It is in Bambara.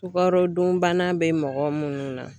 Sukarodunbana bɛ mɔgɔ minnu na